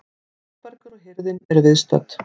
Þórbergur og hirðin eru viðstödd.